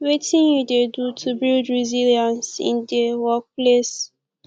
wetin you dey do to build resilience in dey workplace